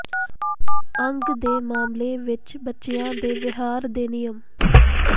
ਅੱਗ ਦੇ ਮਾਮਲੇ ਵਿਚ ਬੱਚਿਆਂ ਦੇ ਵਿਹਾਰ ਦੇ ਨਿਯਮ